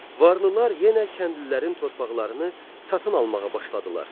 Varlılar yenə kəndlilərin torpaqlarını satın almağa başladılar.